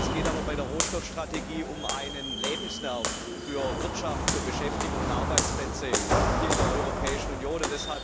Es geht bei der Rohstoffstrategie aber um einen Lebensnerv für Wirtschaft, Beschäftigung und Arbeitsplätze hier in der Europäischen Union.